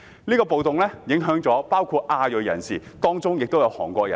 是次暴動影響亞裔人士，當中包括韓國人。